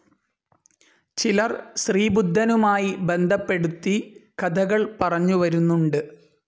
ചിലർ ശ്രീബുദ്ധനുമായി ബന്ധപ്പെടുത്തി കഥകൾ പറഞ്ഞു വരുന്നുണ്ട്.